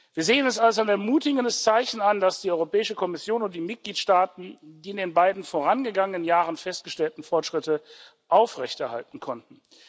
Wir sehen es als ein ermutigendes Zeichen an, dass die Europäische Kommission und die Mitgliedstaaten die in den beiden vorangegangenen Jahren festgestellten Fortschritte aufrechterhalten konnten.